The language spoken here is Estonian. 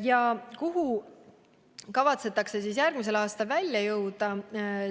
Ja kuhu kavatsetakse järgmisel aastal välja jõuda,